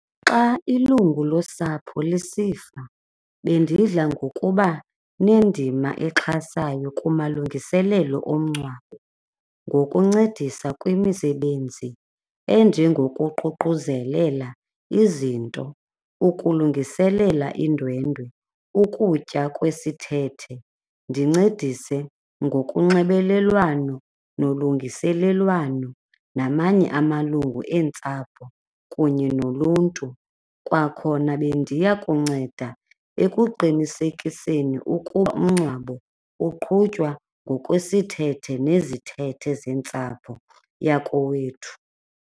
Xa ilungu losapho lisifa bendidla ngokuba nendima exhasayo kumalungiselelo omngcwabo ngokuncedisa kwimisebenzi enjengokuququzelela izinto ukulungiselela iindwendwe ukutya kwesithethe. Ndincedise ngokunxibelelwano nolungiselelwano namanye amalungu entsapho kunye noluntu. Kwakhona bendiya kunceda ekuqinisekiseni ukuba umngcwabo uqhutywa ngokwesithethe nezithethe zentsapho yakowethu.